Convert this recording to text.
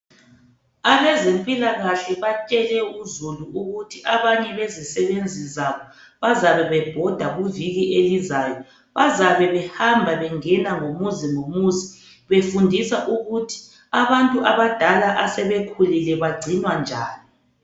Abezempilakahle batshele uzulu ukuthi abanye bezisebenzi zabo, bazabe bebhoda ngeviki elizayo. Bazabe behamba, bengena ngomuzi ngomuzi befundisa ukuthi abantu abadala, asebekhulile, bagcinwa njani.